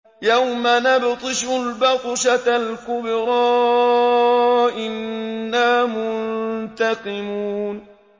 يَوْمَ نَبْطِشُ الْبَطْشَةَ الْكُبْرَىٰ إِنَّا مُنتَقِمُونَ